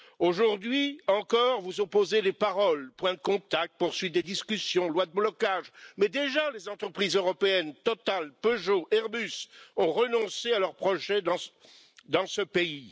Aujourd'hui encore, vous opposez les paroles point de contact, poursuite des discussions, loi de blocage mais déjà les entreprises européennes Total, Peugeot, Airbus ont renoncé à leurs projets dans ce pays.